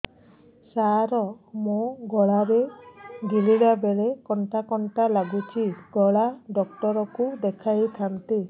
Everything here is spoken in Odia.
ସାର ମୋ ଗଳା ରେ ଗିଳିଲା ବେଲେ କଣ୍ଟା କଣ୍ଟା ଲାଗୁଛି ଗଳା ଡକ୍ଟର କୁ ଦେଖାଇ ଥାନ୍ତି